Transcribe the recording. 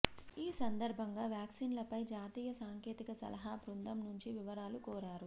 ఈ సందర్భంగా వ్యాక్సిన్లపై జాతీయ సాంకేతిక సలహా బృందం నుంచి వివరాలు కోరారు